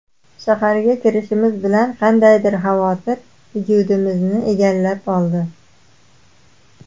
Shaharga kirishimiz bilan qandaydir xavotir vujudimizni egallab oldi.